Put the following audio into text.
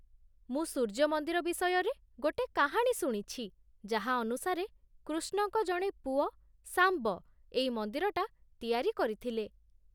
ମୁଁ ସୂର୍ଯ୍ୟ ମନ୍ଦିର ବିଷୟରେ ଗୋଟେ କାହାଣୀ ଶୁଣିଛି, ଯାହା ଅନୁସାରେ, କୃଷ୍ଣଙ୍କ ଜଣେ ପୁଅ, ଶାମ୍ବ ଏଇ ମନ୍ଦିରଟା ତିଆରି କରିଥିଲେ ।